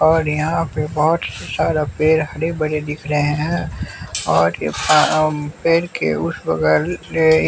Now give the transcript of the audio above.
और यहाँ पर बहुत सारा पेड़ हरे बड़े दिख रहे हैं और यह पे पेड़ के उस बगल अ--